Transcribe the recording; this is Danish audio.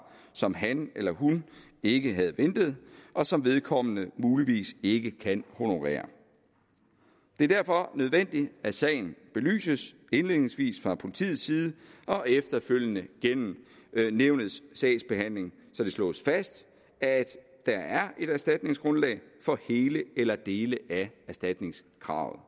som han eller hun ikke havde ventet og som vedkommende muligvis ikke kan honorere det er derfor nødvendigt at sagen belyses indledningsvis fra politiets side og efterfølgende gennem nævnets sagsbehandling så det slås fast at der er et erstatningsgrundlag for hele eller dele af erstatningskravet